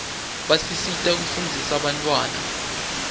basisita kufunzisa bantfwana